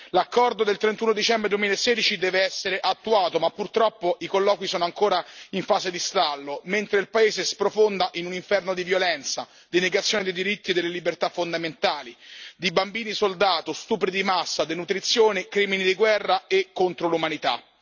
L'accordo del 31 dicembre 2016 deve essere attuato, ma purtroppo i colloqui sono ancora in fase di stallo, mentre il paese sprofonda in un inferno di violenza, di negazione dei diritti e delle libertà fondamentali, di bambini soldato, stupri di massa, denutrizione, crimini di guerra e contro l'umanità.